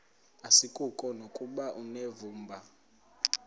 asikuko nokuba unevumba